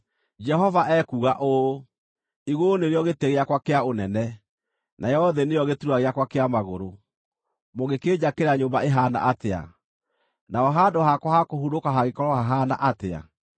Jehova ekuuga ũũ: “Igũrũ nĩrĩo gĩtĩ gĩakwa kĩa ũnene, nayo thĩ nĩyo gĩturwa gĩakwa kĩa magũrũ. Mũngĩkĩnjakĩra nyũmba ĩhaana atĩa? Naho handũ hakwa ha kũhurũka hangĩkorwo hahaana atĩa?